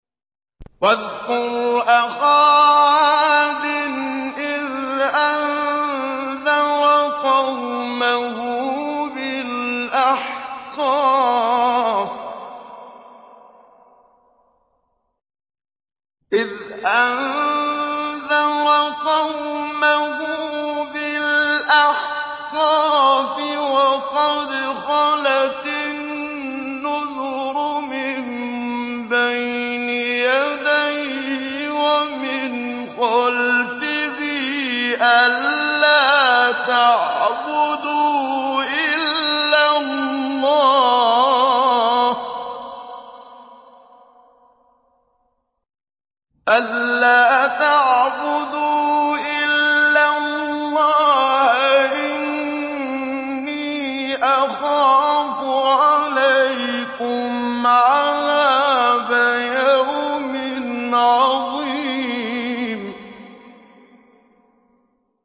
۞ وَاذْكُرْ أَخَا عَادٍ إِذْ أَنذَرَ قَوْمَهُ بِالْأَحْقَافِ وَقَدْ خَلَتِ النُّذُرُ مِن بَيْنِ يَدَيْهِ وَمِنْ خَلْفِهِ أَلَّا تَعْبُدُوا إِلَّا اللَّهَ إِنِّي أَخَافُ عَلَيْكُمْ عَذَابَ يَوْمٍ عَظِيمٍ